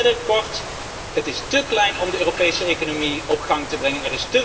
Ten derde, kort, het is te weinig om de Europese economie op gang te brengen.